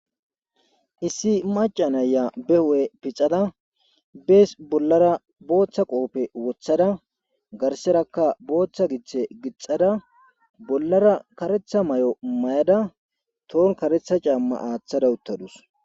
Issi macanayya be hu7e pixada bees bollara booththa qohoppe wothada garserakka booththa giththe gixada bollara karetha may7o may7ada toon karetha caamma aaththada uttadus